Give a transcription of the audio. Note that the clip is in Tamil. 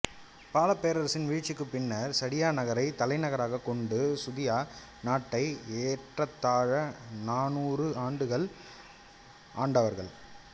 பாலப் பேரரசின் வீழ்ச்சிக்குப் பின்னர் சடியா நகரை தலைநகராகக் கொண்டு சுதியா நாட்டை ஏறத்தாழ நானூறு ஆண்டுகள் ஆண்டவர்கள்